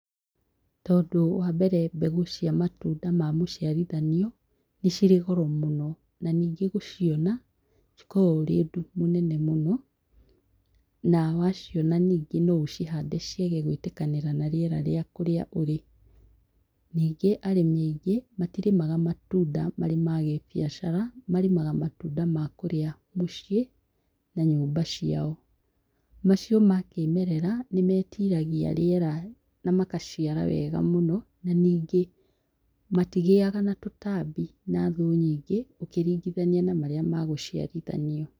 Tondũ wa mbere, mbegũ cia matunda ma mũciarithanio nĩ cirĩ goro mũno, na ningi gũciona, cikoragwo ũrĩ ũndũ mũnene mũno. Na waciona ningĩ no ũcihande ciage gũĩtĩkania na rĩera rĩa kũrĩa ũrĩ. Ningĩ arĩmi aingĩ, matirĩmaga matunda marĩ ma gĩbiacara. Marĩmaga matunda ma kũrĩa mũciĩ na nyũmba ciao. Macio ma kĩĩmerera nĩ metiiragia rĩera, na makaciara wega mũno, na ningĩ matigĩaga na tũtambi na thũũ nyingĩ, ũkĩringithania na marĩa ma gũciarithanio.